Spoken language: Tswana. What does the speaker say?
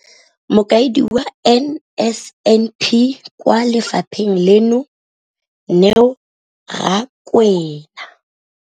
Mokaedi wa NSNP kwa lefapheng leno, Neo Rakwena,